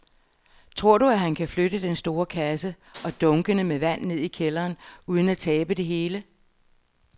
Tror du, at han kan flytte den store kasse og dunkene med vand ned i kælderen uden at tabe det hele?